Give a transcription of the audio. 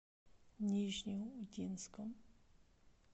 нижнеудинском